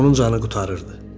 Onun canı qurtarırdı.